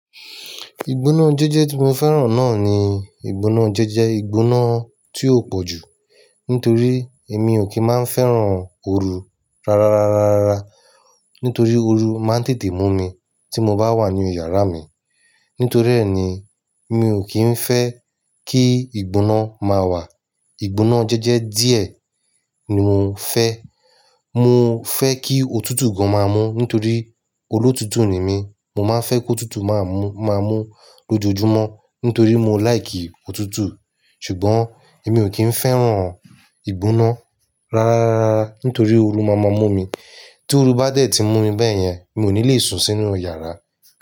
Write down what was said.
Ìgbóná jẹ́jẹ́ tí mo fẹ́ràn náà ni ìgbóná jẹ́jẹ́. Ìgbóná tí ó pọ̀ jù. Nítorí èmi ò kí ń máa ń fẹ́ràn oru rárárárárára. Nítorí oru máa ń tètè mú mi tí mo bá wà ní yàrá mi. Nítorí rẹ̀ ni mi ò kí ń fẹ́ kí ìgbóná máa wà. Ìgbóná jẹ́jẹ́ díẹ̀ ni mo fẹ́. Mo fẹ́ kí òtútù gan máa mú. Nítorí olótútù ni mí. Mo máa fẹ́ kó òtútù máa mú, máa mú lójoojúmọ́. Nítorí mo like òtútù. Ṣùgbọ́n èmi ò kí ń fẹ́ràn ìgbóná rárárárárá. Nítorí oru máa máa mú mi. Tí oru bá dẹ̀ tí mú mi bẹ́yẹn, mi ò ní lè sùn sínú yàrá.